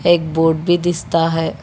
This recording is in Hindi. एक बोर्ड भी दिखता है।